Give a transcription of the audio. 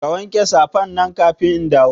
Ka wanke safan nan kafin in dawo